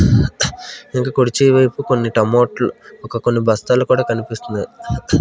ఇంకా కుర్చీ వైపు కొన్ని టమోట్లు ఒక కొన్ని బస్తాలు కుడా కనిపిస్తున్నాయి.